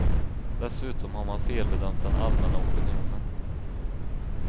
Dessutom har man felbedömt den allmänna opinionen.